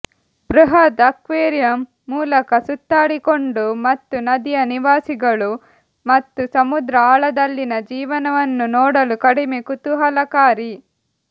ಬೃಹತ್ ಅಕ್ವೇರಿಯಂ ಮೂಲಕ ಸುತ್ತಾಡಿಕೊಂಡು ಮತ್ತು ನದಿಯ ನಿವಾಸಿಗಳು ಮತ್ತು ಸಮುದ್ರ ಆಳದಲ್ಲಿನ ಜೀವನವನ್ನು ನೋಡಲು ಕಡಿಮೆ ಕುತೂಹಲಕಾರಿ